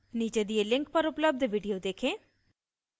नीचे दिए link पर उपलब्ध video देखें